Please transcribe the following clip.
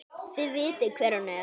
Þið vitið hver hún er!